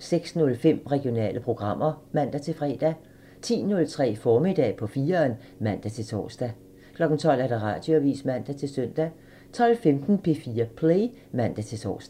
06:05: Regionale programmer (man-fre) 10:03: Formiddag på 4'eren (man-tor) 12:00: Radioavisen (man-søn) 12:15: P4 Play (man-tor)